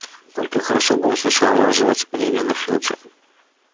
только хорошо бы он сначала наложил оцепление на филча